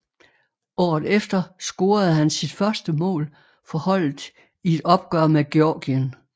Året efter scorede han sit første mål for holdet i et opgør mod Georgien